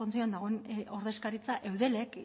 kontseiluan dagoen ordezkaritza eudelek